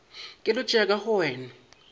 keletšo ya ka go wena